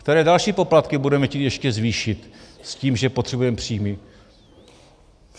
Které další poplatky budeme chtít ještě zvýšit s tím, že potřebujeme příjmy?